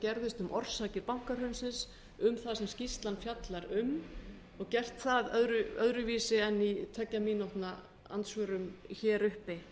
gerðist um orsakir bankahrunsins um það sem skýrslan fjallar um og gert það öðruvísi en í tveggja mínútna andsvörum hér uppi